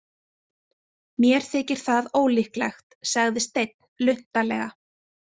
Mér þykir það ólíklegt, sagði Steinn luntalega.